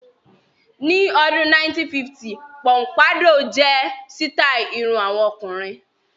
Ní ọdún 1950 póḿpádọ́ọ̀ jẹ́ sítàì irun àwọn ọkùnrin.